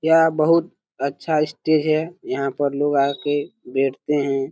यह बहुत अच्छा स्टेज है। यहां पे लोग आ के बैठते हैं।